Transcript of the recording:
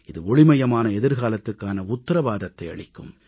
இது ஒளிமயமான எதிர்காலத்துக்கான உத்தரவாதத்தை அளிக்கும்